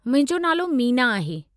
मुंहिंजो नालो मीना आहे।